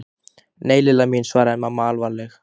Nei, Lilla mín svaraði mamma alvarleg.